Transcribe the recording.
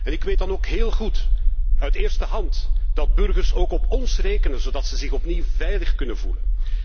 Ik weet dan ook heel goed, uit eerste hand, dat burgers ook op ons rekenen, zodat ze zich opnieuw veilig kunnen voelen.